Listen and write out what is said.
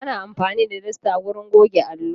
Ana amfani da dasta wajen goge allo.